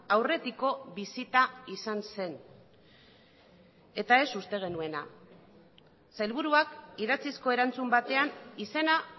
aurretiko bisita izan zen eta ez uste genuena sailburuak idatzizko erantzun batean izena